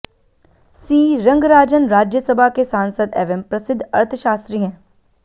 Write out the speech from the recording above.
सी रंगराजन राज्यसभा के सांसद एवं प्रसिद्ध अर्थशास्त्री हैं